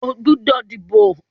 O gbọ́dọ̀ díbò!